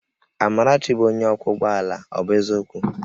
Amarachi bụ onye ọkwọ ụgbọ ala, ọ bụ eziokwu?